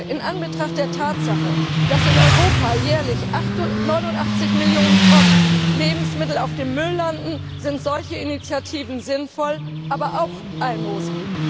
In Anbetracht der Tatsache, dass in Europa jährlich 89 Millionen Tonnen Lebensmittel auf dem Müll landen, sind solche Initiativen sinnvoll, aber auch Almosen.